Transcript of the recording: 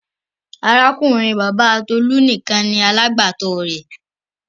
Arákùnrin-bàbá Tolú nìkan ni alágbàtọ́ rẹ̀